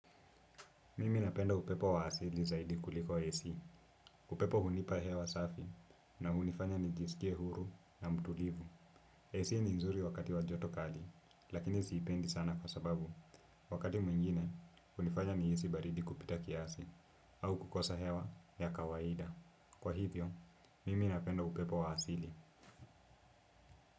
Mimi napenda upepo wa asili zaidi kuliko AC. Upepo hunipa hewa safi na hunifanya nijisikie huru na mtulivu. AC ni nzuri wakati wa joto kali, lakini zipendi sana kwa sababu. Wakati mwingine, hunifanya nihisi baridi kupita kiasi au kukosa hewa ya kawaida. Kwa hivyo, mimi napenda upepo wa asili.